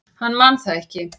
Hann man það ekki.